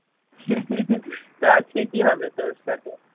তো আজকে কি হবে তোর সাথে